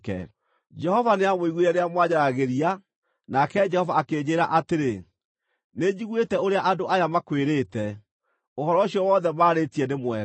Jehova nĩamũiguire rĩrĩa mwanjaragĩria, nake Jehova akĩnjĩĩra atĩrĩ, “Nĩnjiguĩte ũrĩa andũ aya makwĩrĩte. Ũhoro ũcio wothe maarĩtie nĩ mwega.